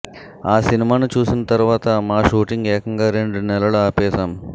ఆ సినిమాను చూసిన తరువాత మా షూటింగ్ ఏకంగా రెండు నెలలు ఆపేశాం